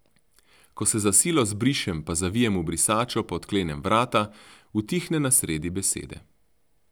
Ko se za silo zbrišem pa zavijem v brisačo pa odklenem vrata, utihne na sredi besede.